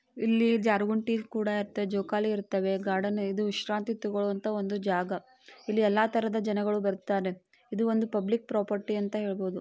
ಇಲ್ಲಿ ಜಾರುಗುಂಟಿ ಕೂಡ ಇರುತ್ತೆ ಜೋಕಾಲಿ ಇರುತ್ತವೆ. ಗಾರ್ಡನ್ ಇದು ವಿಶ್ರಾಂತಿ ತೆಗೊಳೋವಂತ ಜಾಗ. ಇಲ್ಲಿ ಎಲ್ಲಾ ತರದ ಜನಗಳು ಬರುತ್ತಾರೆ. ಇದು ಒಂದು ಪಬ್ಲಿಕ್ ಪ್ರಾಪರ್ಟಿ ಅಂತ ಹೇಳ್ಬಹುದು .